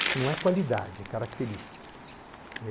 Isso não é qualidade, é característica.